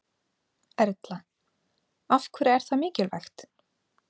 Erla: Af hverju er það mikilvægt?